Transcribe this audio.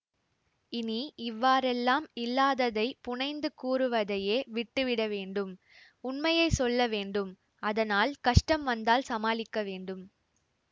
இனி இவ்வாறெல்லாம் இல்லாததைப் புனைந்து கூறுவதையே விட்டுவிடவேண்டும் உண்மையை சொல்ல வேண்டும் அதனால் கஷ்டம் வந்தால் சமாளிக்க வேண்டும்